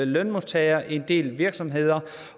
lønmodtagere og en del virksomheder